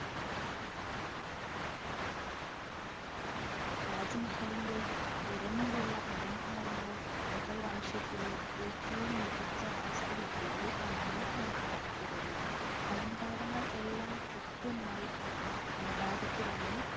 താജ്മഹലിൻ്റെ പുറമെയുള്ള അലങ്കാരങ്ങൾ മുഗൾ വംശത്തിലെ ഏറ്റവും മികച്ച വാസ്തു വിദ്യകളിൽ ഒന്നായി കണക്കാക്കപ്പെടുന്നു. അലങ്കാരങ്ങൾ എല്ലാം കൃത്യമായി അനുപാതത്തിലാണ്